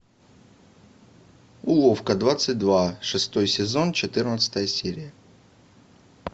уловка двадцать два шестой сезон четырнадцатая серия